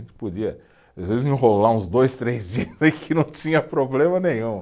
A gente podia, às vezes, enrolar uns dois, três dias e que não tinha problema nenhum.